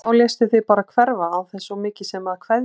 Og þá léstu þig bara hverfa án þess svo mikið sem að kveðja!